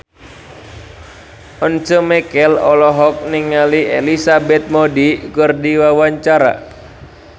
Once Mekel olohok ningali Elizabeth Moody keur diwawancara